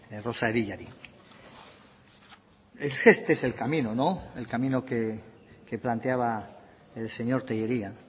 es que este el camino no el camino que planteaba el señor tellería